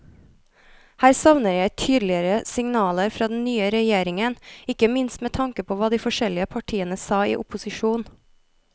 Her savner jeg tydeligere signaler fra den nye regjeringen, ikke minst med tanke på hva de forskjellige partiene sa i opposisjon.